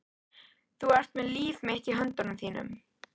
Þú ert með líf mitt í höndum þínum.